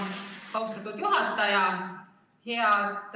Austatud juhataja!